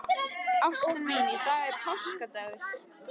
Ástin mín, í dag er páskadagur.